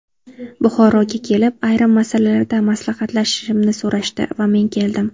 Buxoroga kelib, ayrim masalalarda maslahatlashishimni so‘rashdi va men keldim.